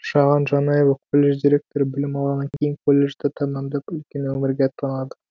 шаған жанаева колледж директоры білім алғаннан кейін колледжді тәмамдап үлкен өмірге аттанады